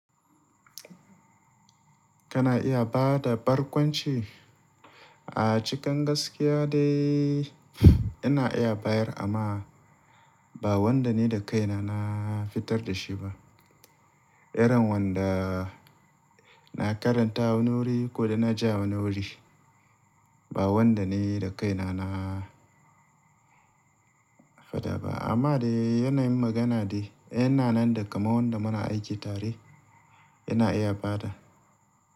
Kana iya ba da barkwanci? A cikin gaskiya dai ina iya bayar amma ba wanda ni da kaina na fitar da shi ba. Iran wanda na karanta wani wuri ko dai na ji a wani wuri ba wanda ni da kaina na fada ba. Amma dai yanayin magana dai yana nan da kamar wanda muna aiki tare ina iya bada.